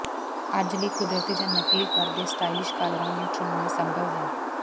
ਅੱਜ ਲਈ ਕੁਦਰਤੀ ਜਾਂ ਨਕਲੀ ਫਰ ਦੇ ਸਟਾਈਲਿਸ਼ ਕਾਲਰਾਂ ਨੂੰ ਚੁਣਨਾ ਸੰਭਵ ਹੈ